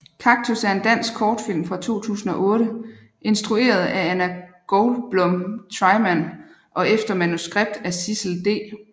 Kaktus er en dansk kortfilm fra 2008 instrueret af Anna Goldblum Treiman og efter manuskript af Sissel D